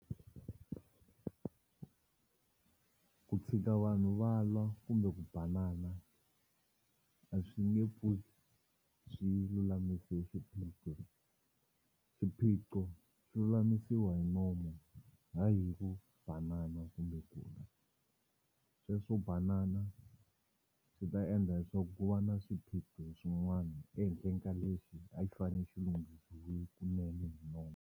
Ku tshika vanhu va lwa kumbe ku banana a swi nge pfuki swi lulamise xiphiqo xiphiqo xi lulamisiwa hi nomo ha yi hi ku banana kumbe ku lwa sweswo banana swi ta endla swo ku va na swiphiqo swin'wani ehenhleni ka lexi a xi fane xilunghisiwile kunene hi nomo.